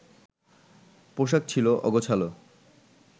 পোশাক ছিল অগোছালো